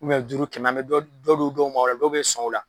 duuru kɛmɛ an bɛ dɔ du dɔw ma ola dow bɛ sɔn o la.